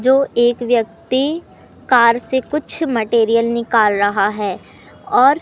जो एक व्यक्ति कार से कुछ मटेरियल निकल रहा है और--